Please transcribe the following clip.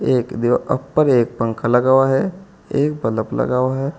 एक दीवार अपर एक पंखा लगा हुआ है एक बल्ब लगा हुआ है।